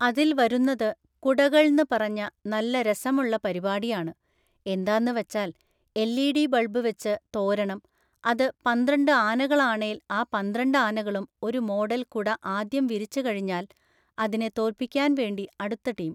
അതില്‍ വരുന്നത് കുടകൾന്ന്‌ പറഞ്ഞ നല്ല രസമുള്ള പരിപാടിയാണ്. എന്താന്ന് വച്ചാൽ എൽഈഡി ബൾബ് വച്ച് തോരണം. അത് പന്ത്രണ്ട് ആനകളാണേൽ ആ പന്ത്രണ്ട് ആനകളും ഒരു മോഡല്‍ കുട ആദ്യം വിരിച്ച് കഴിഞ്ഞാൽ അതിനെ തോൽപിക്കാൻ വേണ്ടി അടുത്ത ടീം